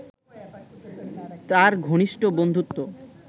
তাঁর ঘনিষ্ঠ বন্ধুত্ব